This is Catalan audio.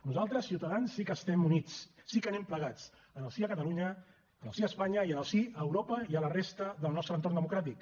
nosaltres ciutadans sí que estem units sí que anem plegats en el sí a catalunya en el sí a espanya en el sí a europa i a la resta del nostre entorn democràtic